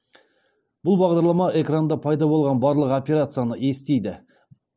бұл бағдарлама экранда пайда болған барлық операцияны естиді